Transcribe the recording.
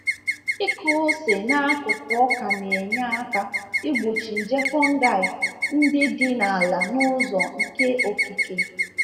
Ịkụ ose n’akụkụ ọka na-enye aka igbochi nje fungi ndị dị n’ala n’ụzọ nke okike.